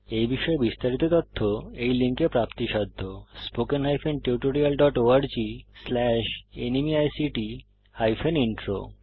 এই বিষয়ে বিস্তারিত তথ্য এই লিঙ্কে প্রাপ্তিসাধ্য spoken hyphen tutorial dot org slash NMEICT hyphen intro